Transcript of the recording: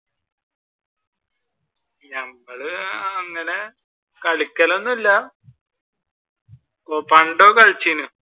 ഞമ്മൾ അങ്ങനെ കളിക്കൽ ഒന്നും ഇല്ല ഇപ്പൊ പണ്ടൊക്കെ കളിച്ചീന്.